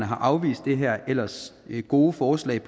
har afvist det her ellers gode forslag